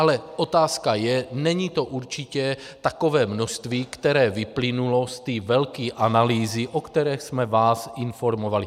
Ale otázka je, není to určitě takové množství, které vyplynulo z té velké analýzy, o které jsme vás informovali.